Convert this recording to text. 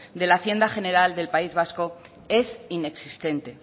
de la hacienda general del país vasco es inexistente